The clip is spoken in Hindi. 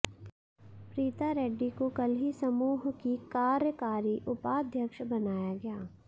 प्रीता रेड्डी को कल ही समूह की कार्यकारी उपाध्यक्ष बनाया गया